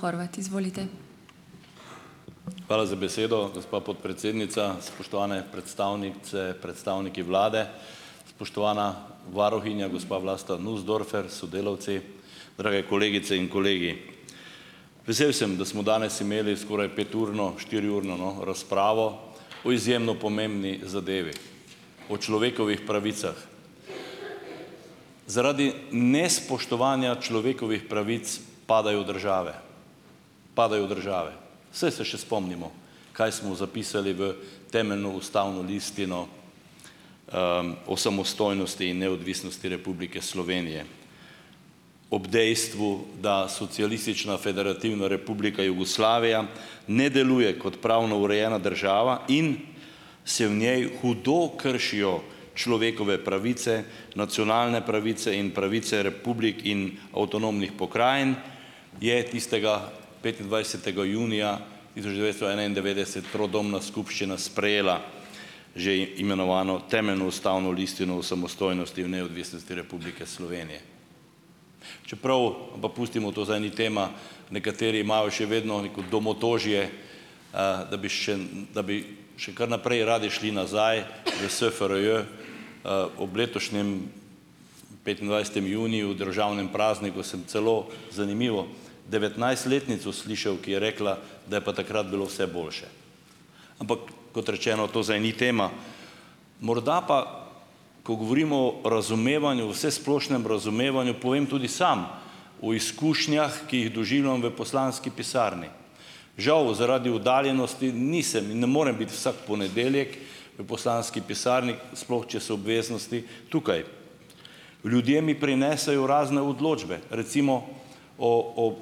Hvala za besedo, gospa podpredsednica. Spoštovane predstavnice, predstavniki vlade, spoštovana varuhinja, gospa Vlasta Nussdorfer s sodelavci, drage kolegice in kolegi! Vesel sem, da smo danes imeli skoraj peturno, štiriurno, no, razpravo o izjemno pomembni zadevi, o človekovih pravicah. Zaradi nespoštovanja človekovih pravic padajo države, padajo države. Saj se še spomnimo, kaj smo zapisali v temeljno ustavno listino o samostojnosti in neodvisnosti Republike Slovenije ob dejstvu, da Socialistična federativna Republika Jugoslavija ne deluje kot pravno urejena država in se v njej hudo kršijo človekove pravice, nacionalne pravice in pravice republik in avtonomnih pokrajin, je tistega petindvajsetega junija tisoč devetsto enaindevetdeset trodomna skupščina sprejela že imenovano temeljno ustavno listino o samostojnosti in neodvisnosti Republike Slovenije. Čeprav, ampak pustimo, to zdaj ni tema, nekateri imajo še vedno neko domotožje, da bi še kar naprej radi šli nazaj v SFRJ, ob letošnjem petindvajsetem juniju, državnem prazniku sem celo zanimivo, devetnajstletnico slišal, ki je rekla, da je pa takrat bilo vse boljše. Ampak kot rečeno, to zdaj ni tema. Morda pa, ko govorimo o razumevanju, vsesplošnem razumevanju, povem tudi sam o izkušnjah, ki jih doživljam v poslanski pisarni. Žal zaradi oddaljenosti nisem in ne morem biti vsak ponedeljek v poslanski pisarni, sploh če so obveznosti tukaj. Ljudje mi prinesejo razne odločbe, recimo o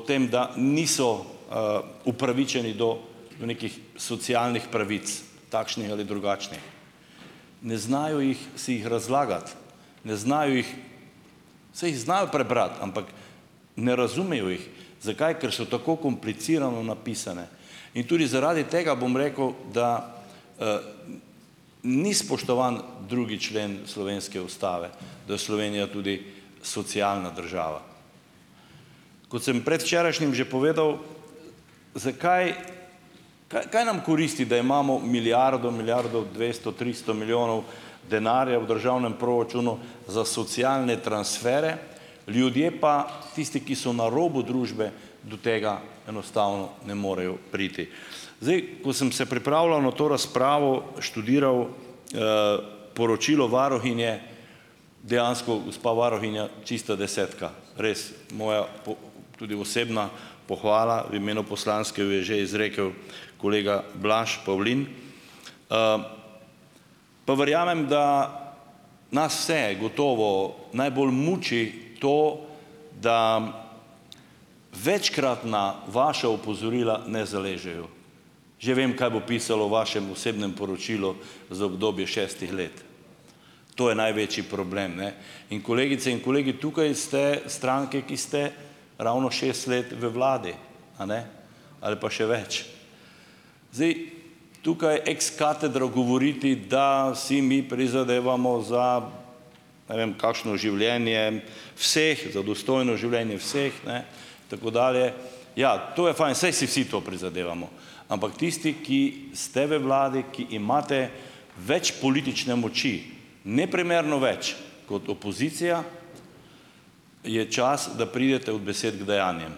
tem, da niso, upravičeni do nekih socialnih pravic, takšnih ali drugačnih. Ne znajo jih si jih razlagati, ne znajo jih, saj jih znajo prebrati, ampak ne razumejo jih. Zakaj? Ker so tako komplicirano napisane. In tudi zaradi tega, bom rekel, da ni spoštovan drugi člen slovenske ustave. Da je Slovenija tudi socialna država. Kot sem predvčerajšnjim že povedal, zakaj kaj nam koristi, da imamo milijardo, milijardo dvesto, tristo milijonov denarja v državnem proračunu za socialne transfere, ljudje pa tisti, ki so na robu družbe, do tega enostavno ne morejo priti. Zdaj, ko sem se pripravljal na to razpravo, študiral poročilo varuhinje dejansko, gospa varuhinja, čista desetka. Res. Moja tudi osebna pohvala, v imenu poslanske jo je že izrekel kolega Blaž Pavlin. Pa verjamem, da nas vse gotovo najbolj muči to, da večkratna vaša opozorila ne zaležejo. Že vem, kaj bo pisalo v vašem osebnem poročilu za obdobje šestih let. To je največji problem, ne. In kolegice in kolegi, tukaj ste stranke, ki ste ravno šest let v vladi. Ali pa še več. Zdaj, tukaj ex katedra govoriti, da si mi prizadevamo za, ne vem, kakšno življenje vseh - za dostojno življenje vseh, ne, tako dalje. Ja, to je fajn. Saj si vsi to prizadevamo. Ampak tisti, ki ste v vladi, ki imate več politične moči, neprimerno več kot opozicija, je čas, da pridete od besed k dejanjem.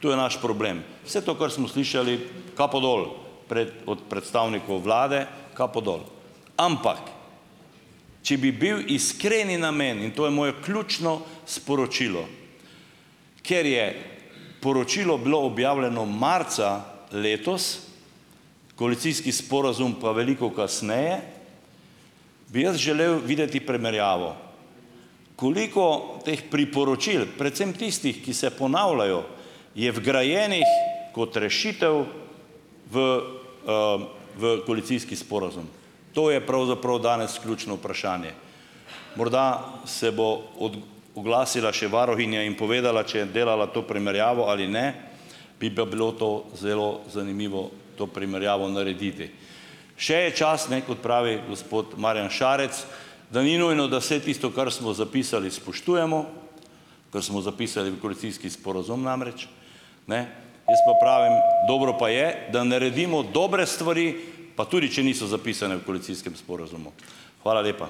Tu je naš problem. Vse to, kar smo slišali, kapo dol. pred od predstavnikov vlade kapo dol. Ampak če bi bil iskreni namen, in to je mojo ključno sporočilo, ker je poročilo bilo objavljeno marca letos, koalicijski sporazum pa veliko kasneje, bi jaz želel videti primerjavo. Koliko teh priporočil, predvsem tistih, ki se ponavljajo, je vgrajenih kot rešitev v koalicijski sporazum? To je pravzaprav danes ključno vprašanje. Morda se bo oglasila še varuhinja in povedala, če je delala to primerjavo ali ne, bi pa bilo to zelo zanimivo to primerjavo narediti. Še je čas, ne, kot pravi gospod Marjan Šarec, da ni nujno, da vse tisto, kar smo zapisali, spoštujemo, kar smo zapisali v koalicijski sporazum, namreč ne jaz pa pravim: "Dobro pa je, da naredimo dobre stvari, pa tudi če niso zapisane v koalicijskem sporazumu." Hvala lepa.